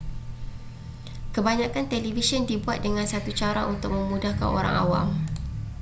kebanyakan televisyen dibuat dengan satu cara untuk memudahkan orang awam